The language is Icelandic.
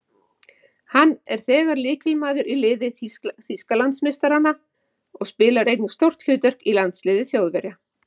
Hann er þegar lykilmaður í liði Þýskalandsmeistaranna og spilar einnig stórt hlutverk í landsliði Þjóðverja.